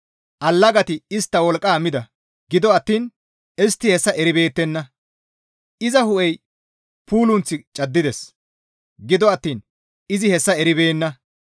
Allagati istta wolqqa mida; gido attiin istti hessa eribeettenna. Iza hu7ey puulunth caddides; gido attiin izi hessa eribeenna.